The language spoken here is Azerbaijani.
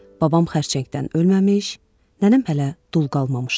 Babam xərçəngdən ölməmiş, nənəm hələ dul qalmamışdı.